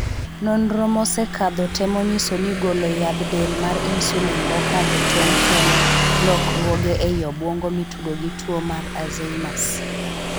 Nonro mosekadho temo nyiso ni golo yadh del mar 'insulin' mokadho tong' kelo lokruoge ei obuongo mitudo gi tuo mar 'Azheimers'.